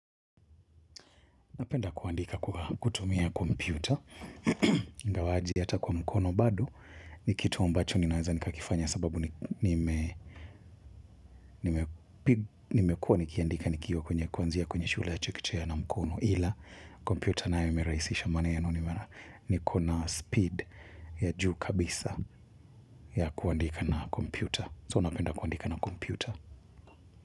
Napenda kuandika kutumia kompyuta. Ingawaja hata kwa mkono hado. Ni kitu ambacho ninaweza nikakifanya sababu nimekua nikiandika nikiw kwenye kuanzia kwenye shule ya chekechea na mkono. Ila kompyuta nayo imerahisisha maneno maana niko na speed ya juu kabisa ya kuandika na kompyuta. So napenda kuandika na kompyuta.